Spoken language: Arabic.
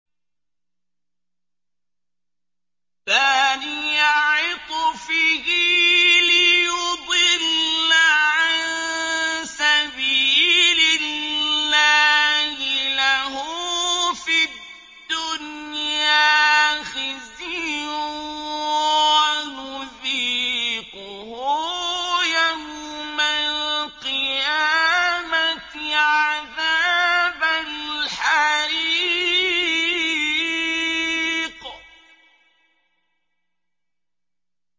ثَانِيَ عِطْفِهِ لِيُضِلَّ عَن سَبِيلِ اللَّهِ ۖ لَهُ فِي الدُّنْيَا خِزْيٌ ۖ وَنُذِيقُهُ يَوْمَ الْقِيَامَةِ عَذَابَ الْحَرِيقِ